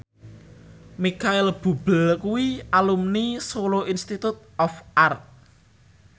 Micheal Bubble kuwi alumni Solo Institute of Art